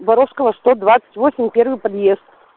воровского сто двадцать восемь первый подъезд